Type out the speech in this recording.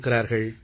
இருக்கிறார்கள்